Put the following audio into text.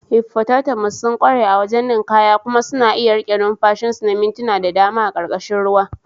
hippotatamus sun ƙware a wajen ninkaya, kuma suna iya riƙe numfashin su na mintuna da dama a ƙarƙashin ruwa.